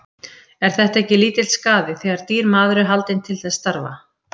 Er þetta ekki lítill skaði, þegar dýr maður er haldinn til þess starfa.